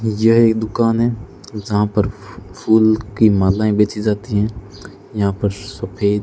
यह एक दुकान है जहां पर फूल की मालाएं बेची जाती हैं यहां पर सफेद --